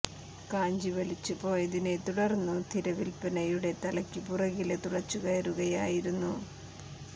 കാഞ്ചി വലിച്ചു പോയതിനെ തുടര്ന്നു തിര വില്നയുടെ തലയ്ക്കു പിറകില് തുളച്ചുകയറുകയായിരുന്നു